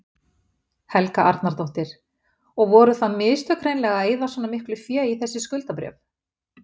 Helga Arnardóttir: Og voru það mistök hreinlega að eyða svona miklu fé í þessi skuldabréf?